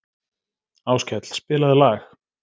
Áskell, spilaðu lag.